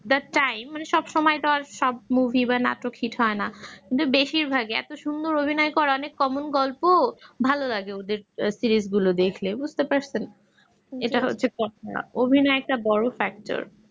the time মানে সব সময় তো আর সব movie বা নাটক hit হয় না কিন্তু বেশিরভাগই এত সুন্দর অভিনয় করে অনেক common গল্প ভালো লাগে ওদের series গুলো দেখলে বুঝতে পারছেন এটা হচ্ছে কথা অভিনয় একটা বড় factor